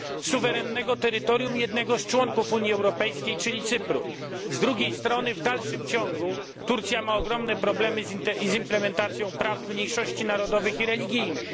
suwerennego terytorium jednego z członków Unii Europejskiej, czyli Cypru. Z drugiej strony Turcja ma w dalszym ciągu ogromne problemy z implementacją praw mniejszości narodowych i religijnych.